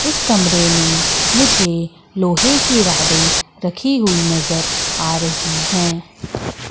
इस कमरे में मुझे लोहे की राडे रखी हुई नजर आ रही हैं।